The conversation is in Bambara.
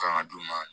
Kan ka d'u ma